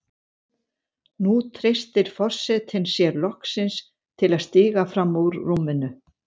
Nú treystir forsetinn sér loksins til að stíga fram úr rúminu.